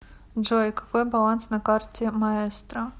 джой какой баланс на карте маэстро